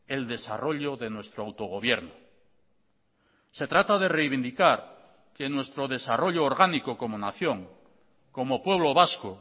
el desarrollo de nuestro autogobierno se trata de reivindicar que nuestro desarrollo orgánico como nación como pueblo vasco